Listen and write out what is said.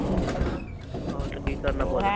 ਆਹੋ ਤੇ ਕੀ ਕਰਨਾ ਬੋਲ ਕੇ